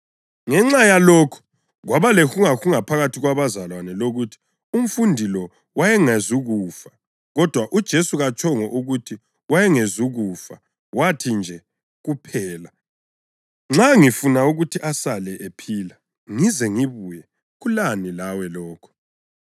Ngenxa yalokhu, kwaba lehungahunga phakathi kwabazalwane lokuthi umfundi lo wayengezukufa. Kodwa uJesu katshongo ukuthi wayengezukufa; wathi nje kuphela, “Nxa ngifuna ukuthi asale ephila ngize ngibuye, kulani lawe lokho?”